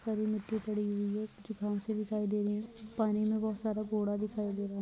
सारी मिट्टी पड़ी हुई है जो से दिखाई दे रही है पानी पे बहुत सारा कूड़ा दिखाई दे रहा है।